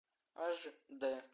аш д